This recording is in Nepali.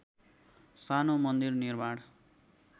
सानो मन्दिर निर्माण